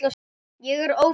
Ég er ófrísk!